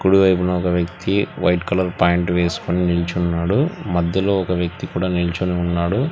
కుడి వైపున ఒక వ్యక్తి వైట్ కలర్ ప్యాంట్ వేసుకొని నిల్చున్నాడు. మధ్యలో ఒక వ్యక్తి కూడా నిల్చొని ఉన్నాడు.